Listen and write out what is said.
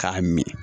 K'a min